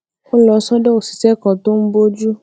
ó lọ sódò òṣìṣé kan tó ń bójú